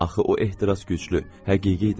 Axı o ehtiras güclü, həqiqi idi.